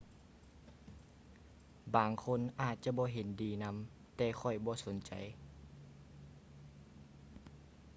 ບາງຄົນອາດຈະບໍ່ເຫັນດີນຳແຕ່ຂ້ອຍບໍ່ສົນໃຈ